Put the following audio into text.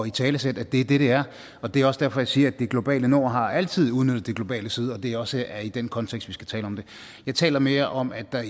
italesætte at det er det det er og det er også derfor jeg siger at det globale nord altid har udnyttet det globale syd og at det også er i den kontekst vi skal tale om det jeg taler mere om at der